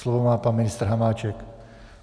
Slovo má pan ministr Hamáček.